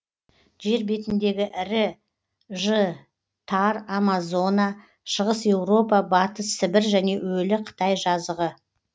жер бетіндегі ірі ж тар амазона шығыс еуропа батыс сібір және өлі қытай жазығы